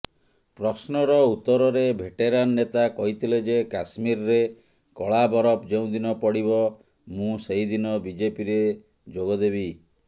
ପ୍ରଶ୍ନର ଉତ୍ତରରେ ଭେଟେରାନ୍ ନେତା କହିଥିଲେଯେ କାଶ୍ମୀରରେ କଳା ବରଫ ଯେଉଁଦିନ ପଡ଼ିବ ମୁଁ ସେହିଦିନ ବିଜେପିରେ ଯୋଗଦେବି